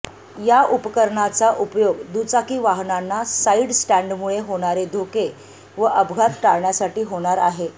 या उपकरणाचा उपयोग दुचाकी वाहनांना साइड स्टॅण्डमुळे होणारे धोके व अपघात टाळण्यासाठी होणार आहे